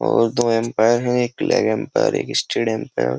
और दो एंपायर है एक लग एंपायर एक स्टेड एंपायर ।